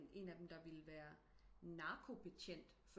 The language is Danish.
En af dem der ville være narkobetjent